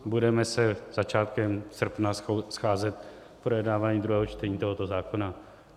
Budeme se začátkem srpne scházet k projednávání druhého čtení tohoto zákona.